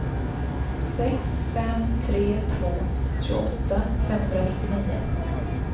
sex fem tre två tjugoåtta femhundranittionio